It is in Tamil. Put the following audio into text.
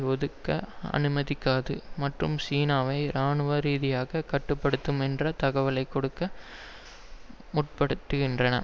ஒதுக்க அனுமதிக்காது மற்றும் சீனாவை இராணுவரீதியாக கட்டு படுத்தும் என்ற தகவலை கொடுக்க முற்படுகின்றன